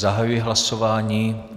Zahajuji hlasování.